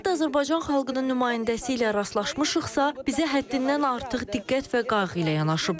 Hardan Azərbaycan xalqının nümayəndəsi ilə rastlaşmışıqsa, bizə həddindən artıq diqqət və qayğı ilə yanaşıblar.